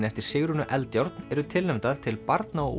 eftir Sigrúnu Eldjárn eru tilnefndar til barna og